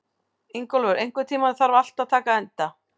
Ingólfur, einhvern tímann þarf allt að taka enda.